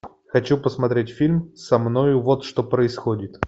хочу посмотреть фильм со мною вот что происходит